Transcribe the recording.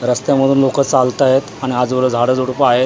रस्त्यामधून लोकं चालत आहेत आणि आजूबाजूला झाडं झुडपं आहेत.